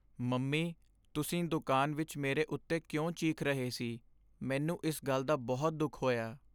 Mummy! ਤੁਸੀਂ ਦੁਕਾਨ ਵਿੱਚ ਮੇਰੇ ਉੱਤੇ ਕਿਉਂ ਚੀਕ ਰਹੇ ਸੀ, ਮੈਨੂੰ ਇਸ ਗੱਲ ਦਾ ਬਹੁਤ ਦੁੱਖ ਹੋਇਆ।